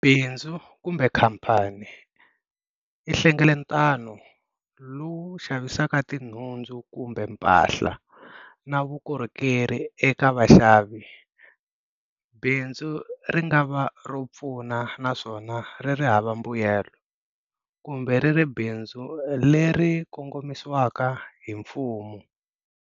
Binzu, kumbe khampani, i nhlangeletano lowu xavisaka tinhundzu kumbe mpahla na vukorhokeri eka Vaxavi. Binzu ringava ropfuna naswona ririhava mbuyelo, kumbe riri Bindzu leri kongomisiwaka himfumo.